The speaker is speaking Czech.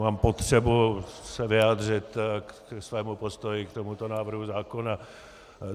Mám potřebu se vyjádřit ke svému postoji k tomuto návrhu zákona.